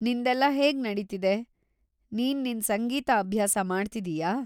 ನಿಂದೆಲ್ಲ ಹೇಗ್‌ ನಡೀತಿದೆ; ನೀನ್‌ ನಿನ್ ಸಂಗೀತ ಅಭ್ಯಾಸ ಮಾಡ್ತಿದೀಯಾ?